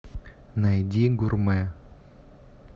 найди гурмэ